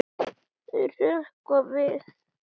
Þau hrökkva við.